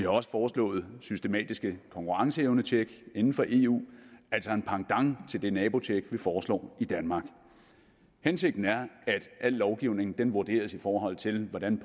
også foreslået systematiske konkurrenceevnetjek inden for eu altså en pendant til det nabotjek vi foreslår i danmark hensigten er at al lovgivning vurderes i forhold til hvordan